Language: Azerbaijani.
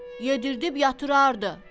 Yedirdib yatırardı.